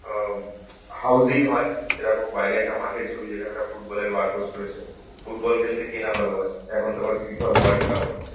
আহ housing হয়। এরকম বাইরে একটা মাঠের ছবি যেখানে একটা ফুটবল এর বার পোস্ট রয়েছে। ফুটবল খেলতে কে না ভালোবাসে। এখন তো আবার ফি.ফা. ওয়ার্ল্ড কাপ হচ্ছে।